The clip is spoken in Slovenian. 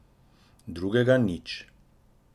Drugega nič.